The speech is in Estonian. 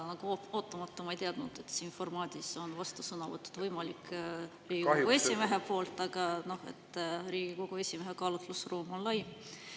See on ootamatu, ma ei teadnud, et siin formaadis on vastusõnavõtud võimalikud Riigikogu esimehe poolt, aga Riigikogu esimehe kaalutlusruum on lai.